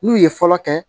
N'u ye fɔlɔ kɛ